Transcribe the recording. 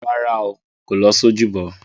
Rárá o, kò lọ sí ojúbọ.